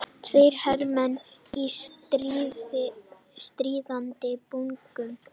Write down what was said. Tveir hermenn í stríðandi búningum.